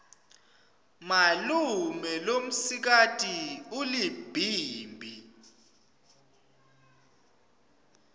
malume lomsikati ulibhimbi